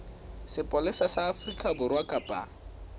sepolesa sa afrika borwa kapa